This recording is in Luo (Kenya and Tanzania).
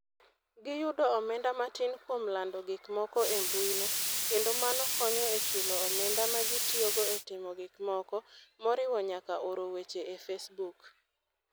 Giyudo omenda matin kuom lando gik moko embuino, kendo mano konyo e chulo omenda ma gitiyogo e timo gik moko, moriwo nyaka oro weche e Facebook.